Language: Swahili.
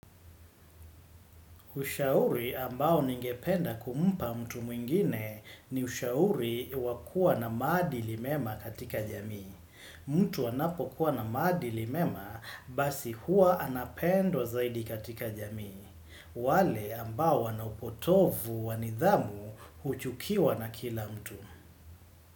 Ushauri ambao ningependa kumpa mtu mwingine ni ushauri wakua na maadilimema katika jamii. Mtu anapo kuwa na maadilimema basi hua anapendwa zaidi katika jamii. Wale ambao wana upotovu wanidhamu huchukiwa na kila mtu.